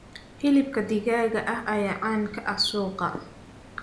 Hilibka digaaga ayaa caan ka ah suuqa.